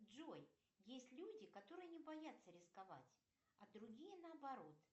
джой есть люди которые не боятся рисковать а другие наоборот